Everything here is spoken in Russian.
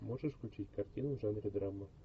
можешь включить картину в жанре драма